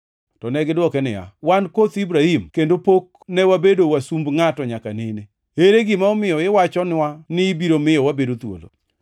To negidwoke niya, “Wan koth Ibrahim kendo pok ne wabedo wasumb ngʼato nyaka nene. Ere gima omiyo iwachonwa ni ibiro miyowa wabed thuolo.”